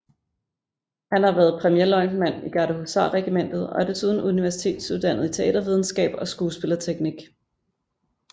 Han har været premierløjtnant i Gardehusarregimentet og er desuden universitetsuddannet i teatervidenskab og skuespillerteknik